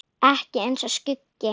Ekki eins og skuggi.